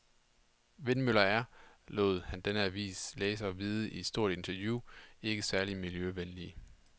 Vindmøller er, lod han denne avis læsere vide i et stort interview, ikke særlig miljøvenlige.